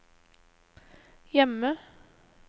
hjemme